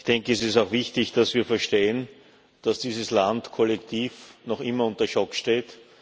Ich denke, es ist auch wichtig, dass wir verstehen, dass dieses Land kollektiv noch immer unter Schock steht.